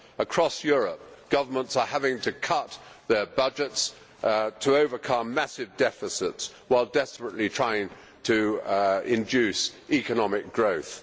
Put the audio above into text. Across Europe governments are having to cut their budgets to overcome massive deficits while desperately trying to induce economic growth.